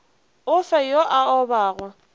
o fe yo a obago